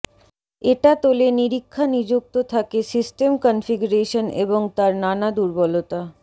এটা তোলে নিরীক্ষা নিযুক্ত থাকে সিস্টেম কনফিগারেশন এবং তার নানা দুর্বলতা